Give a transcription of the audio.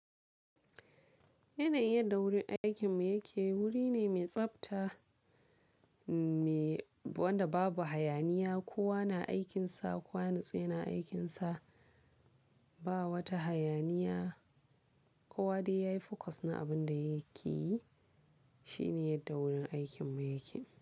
Yanayin da wurin aikinmu yake wuri ne mai tsabta, me wanda babu hayaniya, kowa na aikinsa, kowa ya nutsu yana aikinsa. Ba wata hayaniya, kowa dai yayi focus na abin da yake yi. Shi ne yadda wurin aikinmu yake.